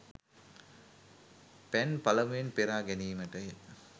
පැන් පළමුවෙන් පෙරා ගැනීමටය.